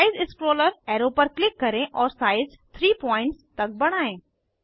size scroller arrow पर click करें और साइज 30 पीटीएस तक बढ़ाएं